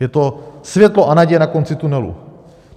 Je to světlo a naděje na konci tunelu.